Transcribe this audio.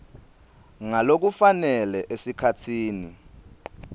ngalokufanele esikhatsini